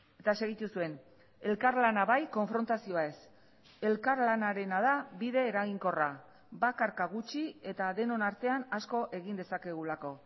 eta segitu zuen elkarlana bai konfrontazioa ez elkarlanarena da bide eraginkorra bakarka gutxi eta denon artean asko egin dezakegulako